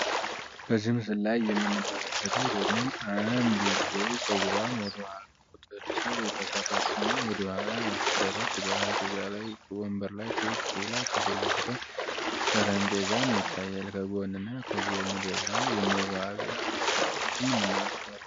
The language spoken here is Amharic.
በዚህ ምስል ላይ የምንመለከተው ደግሞ አንድ ሴት ልጅ ፀጉሯን ወደኋላ ቁንጥርጥር የተሰራች ልጅ ወደ ኋላ ያሰረች ጠረጴዛ በወንበር ላይ ቁጭ ብላ ጠረጴዛም ይታያል ከጎን እና ከጎን ደግሞ የመዋቢያ እቃዎችን እንመለከታለን።